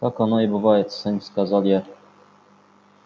так оно и бывает сын сказал я